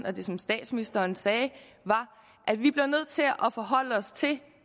og det som statsministeren sagde var at vi bliver nødt til at forholde os til